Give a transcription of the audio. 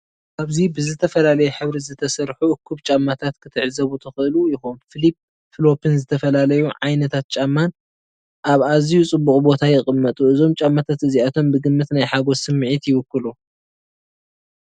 ኣብዚ ብዝተፈላለየ ሕብሪ ዝተሰርሑ እኩብ ጫማታት ክትዕዘቡ ትኽእሉ ኢኹም። ፍሊፕ ፍሎፕን ዝተፈላለዩ ዓይነታት ጫማን ኣብ ኣዝዩ ጽቡቕ ቦታ ይቕመጡ። እዞም ጫማታት እዚኣቶም ብግምት ናይ ሓጐስ ስምዒት ይውክሉ።